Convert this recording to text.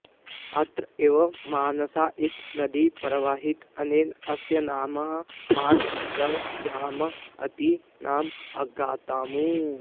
अत्र एव मानसा इति नदी प्रवहति अनेन अस्य नाम मानसवन्यधाम इति नाम आगतम्